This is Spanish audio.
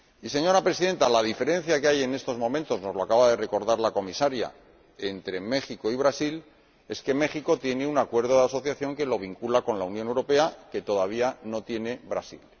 Señora Presidenta, la diferencia que hay en estos momentos —nos lo acaba de recordar la Comisaria— entre México y Brasil es que México tiene un acuerdo de asociación que lo vincula con la Unión Europea, algo que todavía no tiene Brasil.